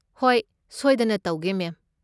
ꯍꯣꯏ, ꯁꯣꯏꯗꯅ ꯇꯧꯒꯦ ꯃꯦꯝ꯫